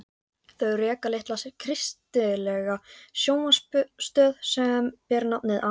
Þau reka litla kristilega sjónvarpsstöð sem ber nafnið Amen.